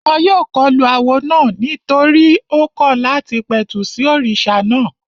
Wọ́n yóò kọlu awo náà nítorí tó kọ̀ láti pẹ̀tù sí òrìṣà náà